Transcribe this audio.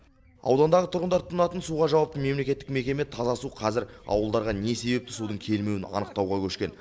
аудандағы тұрғындар тұтынатын суға жауапты мемлекеттік мекеме таза су қазір ауылдарға не себепті судың келмеуін анықтауға көшкен